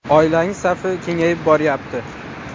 Oilangiz safi kengayib boryapti?